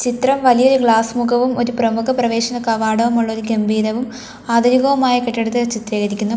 ഇത്രവും വലിയ ഒരു ഗ്ലാസ് മുഖവും ഒരു പ്രമുഖ പ്രവേശന കവാടവുമുള്ള ഒരു ഗംഭീരവും ആധുനികവുമായ കെട്ടിടത്തെ ചിത്രീകരിക്കുന്നു.